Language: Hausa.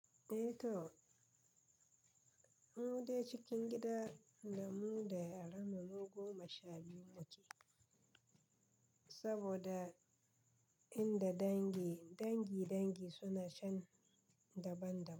Eh to, mu dai cikin gida damu da yaranmu mu goma shabiyu muke saboda inda dangi dangi dangi suna cen daban daban.